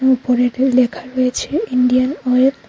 উপরেতে লেখা রয়েছে Indian oil.